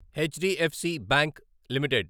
HDFC bank limited